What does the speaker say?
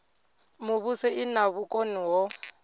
muvhuso i na vhukoni ho